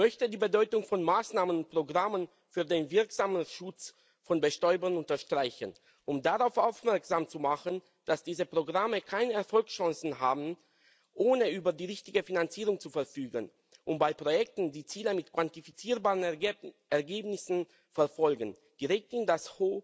Ich möchte die Bedeutung von Maßnahmen und Programmen für den wirksamen Schutz von Bestäubern unterstreichen, um darauf aufmerksam zu machen, dass diese Programme keine Erfolgschancen haben, ohne über die richtige Finanzierung zu verfügen, um bei Projekten, die Ziele mit quantifizierbaren Ergebnissen verfolgen, direkt in das